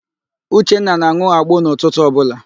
Uchenna na-an̄ụ agbo n'ụtụtụ ọbụla